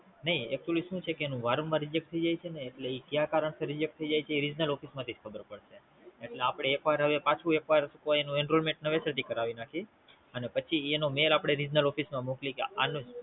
નહિ એનુ શું છે કે એ ક ઈ કારડ થી